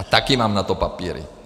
A taky mám na to papíry.